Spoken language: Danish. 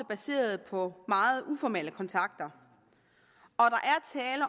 baseret på meget uformelle kontakter